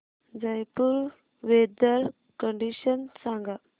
Jaipur weather condition सांगा